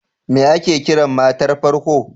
Me ake Kiran matar farko?